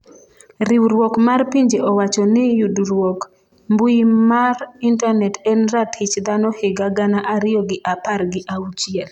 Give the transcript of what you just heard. riwruok mar pinje owacho ni yudruok mbui mar intanet en ratich dhano higa gana ariyo gi apar gi auchiel